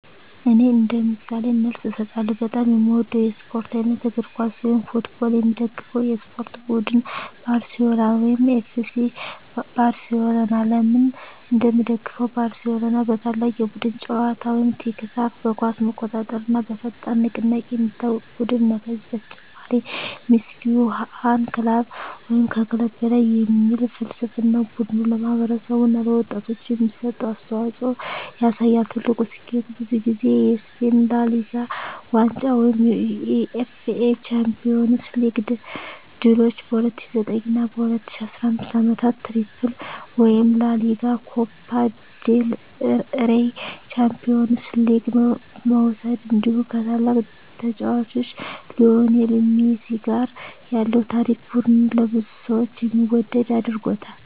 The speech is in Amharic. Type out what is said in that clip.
እኔ እንደ ምሳሌ መልስ እሰጣለሁ፦ በጣም የምወደው የስፖርት አይነት: እግር ኳስ (Football) የምደግፈው የስፖርት ቡድን: ባርሴሎና (FC Barcelona) ለምን እንደምደግፈው: ባርሴሎና በታላቅ የቡድን ጨዋታ (tiki-taka)፣ በኳስ መቆጣጠር እና በፈጣን ንቅናቄ የሚታወቅ ቡድን ነው። ከዚህ በተጨማሪ “Mes que un club” (ከክለብ በላይ) የሚል ፍልስፍናው ቡድኑ ለማህበረሰብ እና ለወጣቶች የሚሰጠውን አስተዋፅኦ ያሳያል። ትልቁ ስኬቱ: ብዙ ጊዜ የስፔን ላ ሊጋ ዋንጫ የUEFA ቻምፒዮንስ ሊግ ድሎች በ2009 እና 2015 ዓመታት “ትሪፕል” (ላ ሊጋ፣ ኮፓ ዴል ሬይ፣ ቻምፒዮንስ ሊግ) መውሰድ እንዲሁ ከታላቁ ተጫዋች ሊዮኔል ሜሲ ጋር ያለው ታሪክ ቡድኑን ለብዙ ሰዎች የሚወደድ አድርጎታል።